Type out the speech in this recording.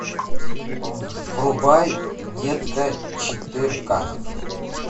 врубай детка четырка